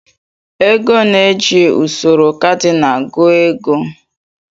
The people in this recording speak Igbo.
Ego na-eji usoro kadinal gụọ ego.